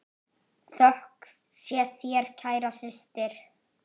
Þökk sé þér, kæra systir.